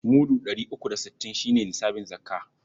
Mudu ɗari uku da sittin shi ne nisabin zakka..